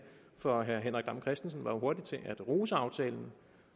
for herre henrik dam kristensen var jo hurtig til at rose aftalen